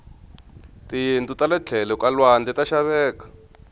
tiyindlu tale tlhelo ka lwandle ta xaveka